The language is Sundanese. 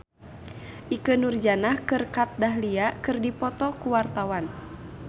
Ikke Nurjanah jeung Kat Dahlia keur dipoto ku wartawan